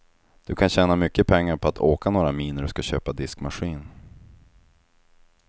Du kan tjäna mycket pengar på att åka några mil när du ska köpa diskmaskin.